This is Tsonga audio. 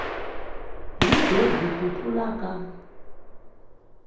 hi gezi ku tlula ka